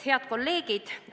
Head kolleegid!